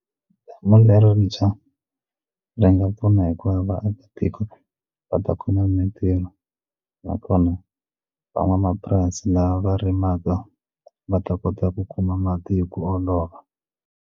Damu leritshwa ri nga pfuna hikuva vaakatiko va ta kuma mintirho nakona van'wamapurasi lava va rimaka va ta kota ku kuma mati hi ku olova.